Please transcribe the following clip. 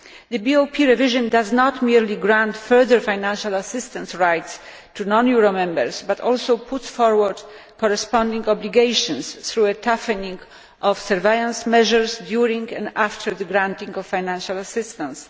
The BOP revision does not merely grant further financial assistance rights to non euro members, it also puts forward corresponding obligations through a toughening of surveillance measures during and after the granting of financial assistance.